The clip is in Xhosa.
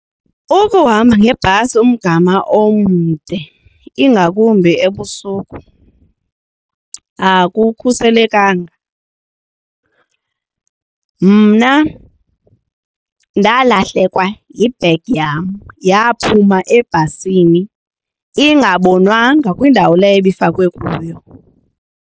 Ukuhamba ngebhasi umgama omde ingakumbi ebusuku akukhuselekanga. Mna ndalahlekwa yibhegi yam yaphuma ebhasini ingabonwanga kwindawo leyo ibifakwe kuyo.